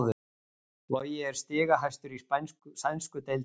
Logi er stigahæstur í sænsku deildinni